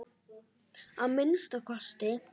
Að minnsta kosti.